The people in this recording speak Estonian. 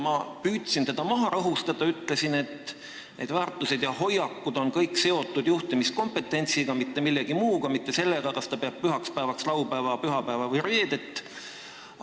Ma püüdsin teda maha rahustada ja ütlesin, et neid väärtusi ja hoiakuid hinnatakse vaid juhtimiskompententsi seisukohalt, mitte lähtudes sellest, kas ta peab pühaks päevaks laupäeva, pühapäeva või reedet.